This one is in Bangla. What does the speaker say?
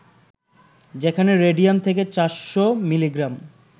যেখানে রেডিয়াম থাকে ৪০০ মিলিগ্রাম